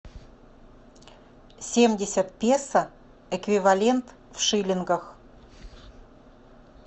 семьдесят песо эквивалент в шиллингах